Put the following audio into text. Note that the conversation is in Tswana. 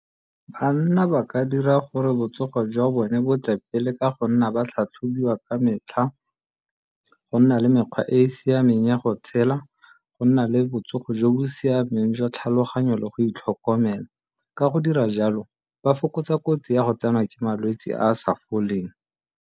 Banna ba ka dira gore botsogo jwa bone bo tle pele ka go nna ba tlhatlhobiwa ka metlha go nna le mekgwa e e siameng ya go tshela, go nna le botsogo jo bo siameng jwa tlhaloganyo le go itlhokomela. Ka go dira jalo ba fokotsa kotsi ya go tsenwa ke malwetsi a a sa foleng.